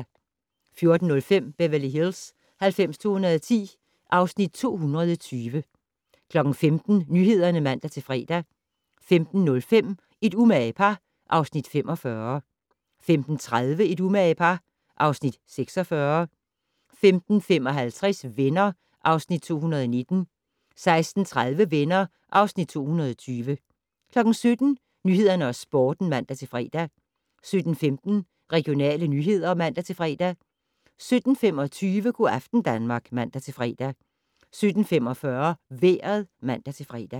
14:05: Beverly Hills 90210 (Afs. 220) 15:00: Nyhederne (man-fre) 15:05: Et umage par (Afs. 45) 15:30: Et umage par (Afs. 46) 15:55: Venner (Afs. 219) 16:30: Venner (Afs. 220) 17:00: Nyhederne og Sporten (man-fre) 17:15: Regionale nyheder (man-fre) 17:25: Go' aften Danmark (man-fre) 17:45: Vejret (man-fre)